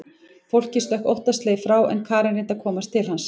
Fólkið stökk óttaslegið frá en Karen reyndi að komast til hans.